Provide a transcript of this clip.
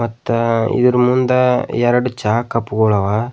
ಮತ್ತ ಇದ್ರ್ ಮುಂದ ಎರಡ್ ಚಹಾ ಕಪ್ ಗುಳವ.